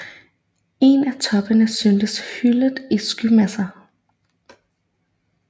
En af toppene syntes hyllet i skymasser